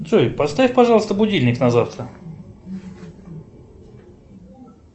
джой поставь пожалуйста будильник на завтра